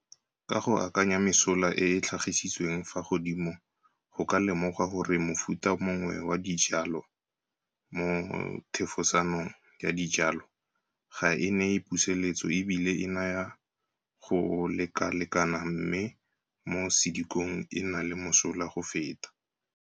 Ka go akanya mesola e e tlhagisitsweng fa godimo go ka lemogwa gore mofuta mongwe wa dijwalwa mo thefosanong ya dijwalwa ga e neye puseletso e bile e naya go lekalekana mme mo sedikong e na le mosola go feta.